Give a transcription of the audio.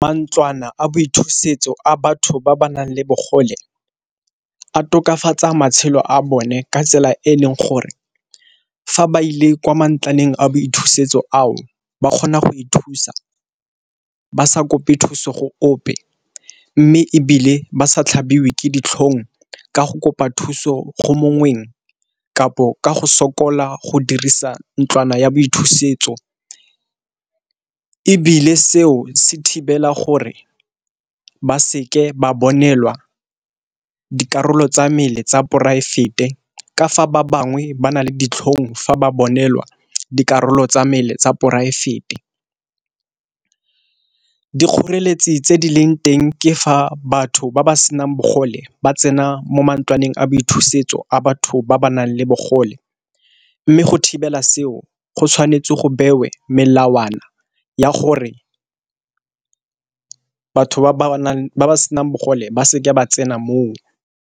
Mantlwana a boithusetso a batho ba ba nang le bogole a tokafatsa matshelo a bone ka tsela e e leng gore, fa ba ile kwa mantlwana a boithusetso ao ba kgona go ithusa ba sa kope thuso go ope. Mme ebile ba sa tlhabiwa ke ditlhong ka go kopa thuso go mongweng kapo ka go sokola go dirisa ntlwana ya boithusetso. Ebile seo se thibela gore ba seke ba bonelwa dikarolo tsa mmele tsa poraefete, ka fa ba bangwe ba na le ditlhong fa ba bonelwa dikarolo tsa mmele tsa poraefete. Dikgoreletsi tse di leng teng ke fa batho ba ba senang bogole ba tsena mo mantlwana a boithusetso a batho ba ba nang le bogole, mme go thibela seo go tshwanetse go bewe melawana ya gore batho ba ba senang bogole ba seke ba tsena mo o.